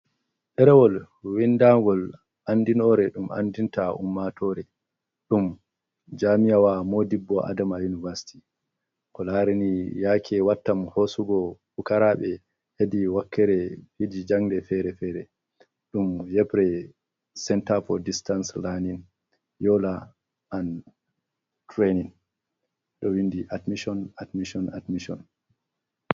Ɗerewol windangol andinore ɗum andinta ummatore ɗum jami'awa Modibbo Adama Univasiti. Ko laarini yake wattam hosugo pukaraɓe hedi wakkere fiji jangle fere-fere, ɗum yebre senta foo distans lanin, yola an treinin. Ɗo windi admishon, admishon, admishon.